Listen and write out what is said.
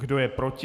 Kdo je proti?